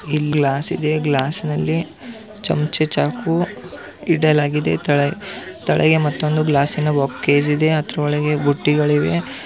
ಇಲ್ಲಿ ಗ್ಲಾಸ್ ಇದೆ ಗ್ಲಾಸ್ ನಲ್ಲಿ ಚಮಚ ಚಾಕು ಇಡಲಾಗಿದೆ ತಲಗೆ ಮತ್ತೊಂದು ಗ್ಲಾಸ್ ಇದೆ ಅದರೊಳಗೆ ಬುತ್ತಿಗಳಿವೆ .